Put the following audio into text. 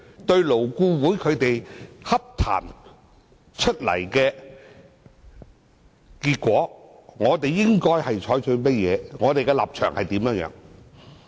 對於勞顧會洽談所得的結果，我們應採取何種態度和立場？